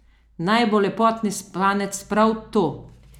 Naj bo lepotni spanec prav to!